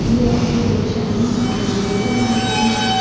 hiye akuluo sheane ariibo eghono alokaepushi.